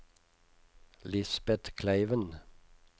Lisbet Kleiven